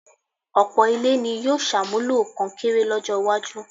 ọ̀pọ̀ ilé ni yóò ṣàmúlò kọnkéré lọ́jọ́-iwájú.